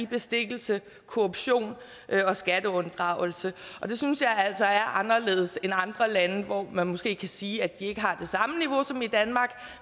bestikkelse korruption og skatteunddragelse det synes jeg altså er anderledes end andre lande hvor man måske kan sige at de ikke har det samme niveau som i danmark